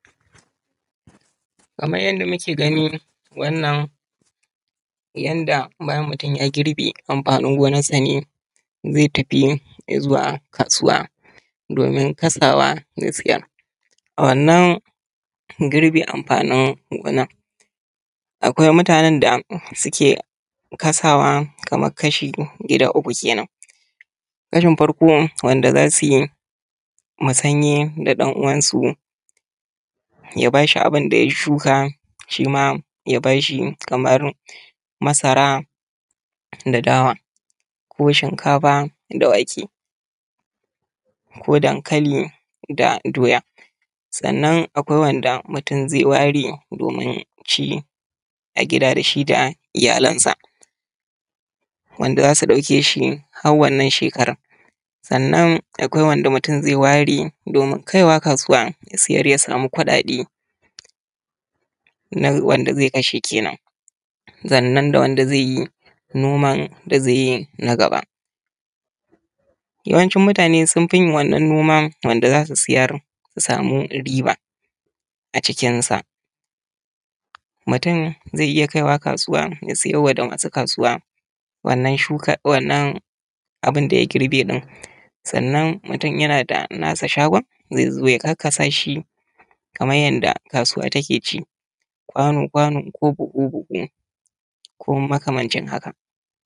Kamar yanda muke gani wannan yanda bayan mutun ya girbe amfanin gonansa ne zai tafi izuwa kasuwa domin kasawa ya siyar. A wannan girbe amfanin gona akwai mutane da suke kasawa kamar kashi gida uku kenan, kashi na farko wanda za su yi musanye da ɗan uwansu ya ba shi abin da ya shuka shima ya ba shi. Kamar masara da dawa, ko shinkafa da wake, ko dankali da doya. Sannan akwai wanda mutun zai ware domin ci a gida da shi da iyalansa wanda za su ɗauke shi har wannan shekaran, sannan akwai wanda mutum zai ware domin kaiwa kasuwa ya siyar ya samu kuɗaɗe na wanda zai kashe kenan, sannan da wanda zai yi noma da zai yi na gaba. Yawancin mutane sun fi yin wannan noma wanda za su siyar su samu riba a cikinsa. Mutun zai iya kaiwa kasuwa ya siyar wa da masu kasuwa wannan abin da ya girbe ɗin, sannan mutum yana da na shi shago zai zo ya karkasa shi kamar yanda kasuwa take ci, kwano kwano, kugu kugu ko makamancin haka.